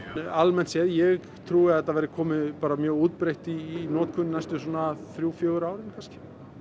almennt séð ég trúi að þetta verði komið bara mjög útbreitt í notkun næstu svona þrjú fjögur árin kannski